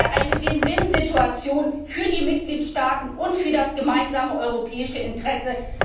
Das wäre eine Win win Situation für die Mitgliedstaaten und für das gemeinsame europäische Interesse.